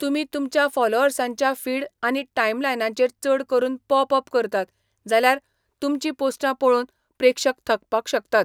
तुमी तुमच्या फॉलोअर्सांच्या फीड आनी टाईमलायनांचेर चड करून पॉप अप करतात जाल्यार तुमचीं पोस्टां पळोवन प्रेक्षक थकपाक शकतात.